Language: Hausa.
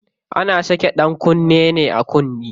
Ana saka ɗankunne ne a kunne.